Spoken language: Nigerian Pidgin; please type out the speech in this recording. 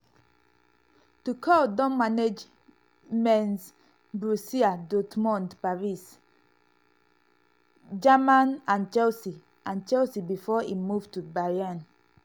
tuchel don manage mainz borussia dortmund paris st-germain and chelsea and chelsea bifor im move to bayern.